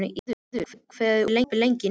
Hervarður, hvað er opið lengi í Nettó?